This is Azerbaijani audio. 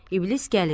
İblis gəlir.